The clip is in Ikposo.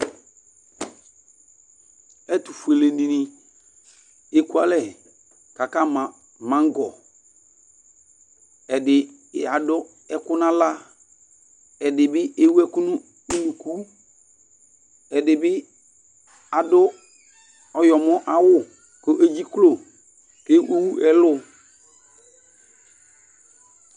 Ɛtʋfʋele di ɛkʋalɛ kʋ akama mangɔ Ɛdí adu ɛku nʋ aɣla Ɛdí bi ewu ɛku nʋ ʋnʋku Ɛdí bi adu ɔwlɔmɔ awu kʋ le dziklo ewu ɛlu